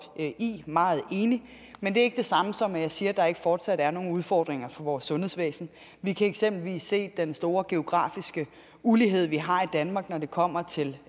i meget enig men det er ikke det samme som at jeg siger at der ikke fortsat er nogle udfordringer for vores sundhedsvæsen vi kan eksempelvis se den store geografiske ulighed vi har i danmark når det kommer til